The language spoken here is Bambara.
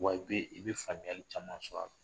Wa i be i be faamuyali caman sɔr'a la.